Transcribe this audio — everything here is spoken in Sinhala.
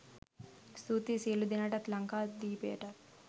ස්තූතියි සියලු දෙනාටත් ලංකාදීපයටත්